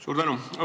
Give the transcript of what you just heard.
Suur tänu!